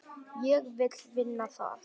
Ég vill vinna það.